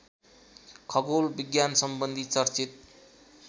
खगोल विज्ञानसम्बन्धी चर्चित